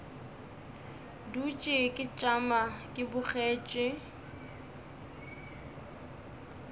dutše ke tšama ke bogetše